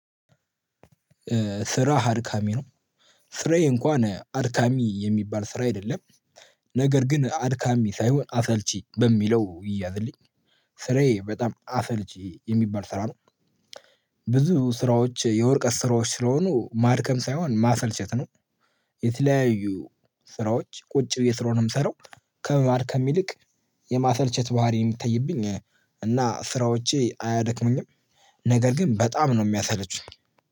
ስራ አድካሚ ነው። ስራዬ እንኳን አድካሚ የሚባል ስራ አይደለም። ነገር ግን አድካሚ ሳይሆን አሰልቺ በሚለው ይያዝልኝ። ስሬ በጣም አሰልቺ የሚባል ስራ ነው። ብዙ ስራዎች የወርቀት ስራዎች ስለሆኑ ማድከም ሳይሆን ማሰልቸት ነው። የተለያዩ ስራዎች ቁጭ ብዬ ስለሆነ ምሰራው ከማድከም ይልቅ የማሰልቸት ባህሪ የምትተይብኝ እና ስራዎቼ አያደክሙኝም። ነገር ግን በጣም ነው የሚያሰለቹኝ